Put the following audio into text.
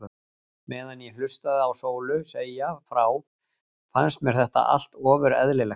Meðan ég hlustaði á Sólu segja frá fannst mér þetta allt ofur eðlilegt.